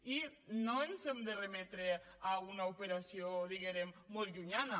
i no ens hem de remetre a una operació diguem ne molt llunyana